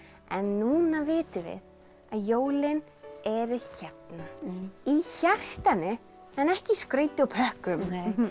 en núna vitum við að jólin eru hérna í hjartanu en ekki í skrauti og pökkum